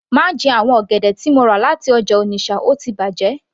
Má jẹ àwọn ọ̀gẹ̀dẹ̀ tí mo rà láti ọjà Onitsha ó ti bàjẹ́